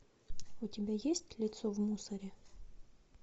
у тебя есть лицо в мусоре